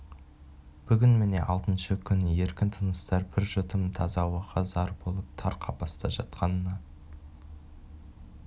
бүгін міне алтыншы күн еркін тыныстар бір жұтым таза ауаға зар болып тар қапаста жатқанына